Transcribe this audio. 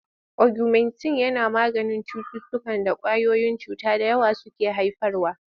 Ogumentin yana maganin cututtukan da ƙwayoyin cuta da yawa suke haifarwa.